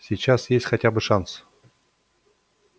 сейчас есть хотя бы шанс